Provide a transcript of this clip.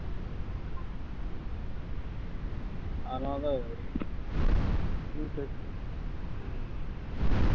அதனாலதான்